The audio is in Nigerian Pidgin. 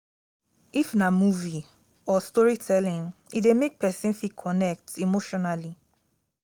if na movie or story telling e de make persin fit connect emotionally